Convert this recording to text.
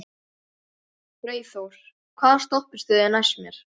Freyþór, hvaða stoppistöð er næst mér?